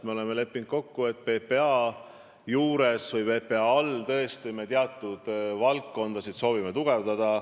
Me oleme kokku leppinud, et me mõnda PPA hallatavat valdkonda tõesti soovime tugevdada.